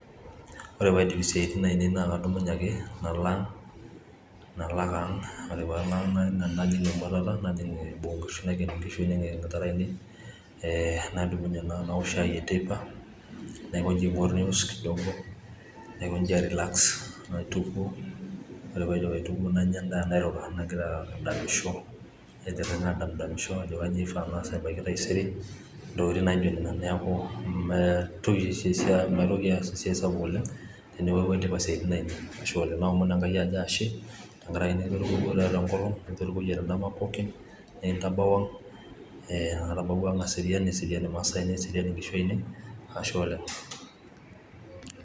Ore paidip isiatin ainei naa kadumunye ake nala ang nalo ake ang ore palo ang najing emwa najing boo oonkishu naiken nkishu naiken intare ainei nadumunye naa naok shai eteipa ,naikonji aingor news kidogo, naikonji airelax ,naitukuo ore paaidip aitukuo nanya endaa nairura ,nagira adamisho aitiringa adamdamisho ajo kainyioo ishiaa naas ebaiki taisere ntokitin naijo nena neku maitoki oshi aas esiai sapuk oleng teniaku aidipa siatin ainei ,naomon Enkai ashe tenkaraki nitorikwo yiook tenkolong ,nitoriko yiook tendama pooki, nikintabau ang ,e atabawua ang aserian neserian nkishu ainei ,ashe oleng.